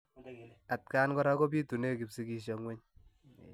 Atkaan koraa kopitunee kapsigisio ngweny.